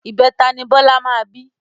ìbẹta ni Bọlá máa bí